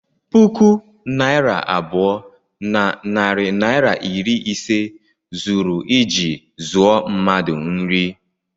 puku naịra abụọ na narị naịra iri ise zuru iji zụọ mmadu nri